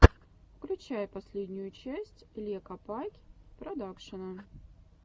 включай последнюю часть ле копакь продакшена